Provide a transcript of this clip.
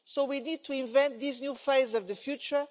So we need to invent this new phase of the future.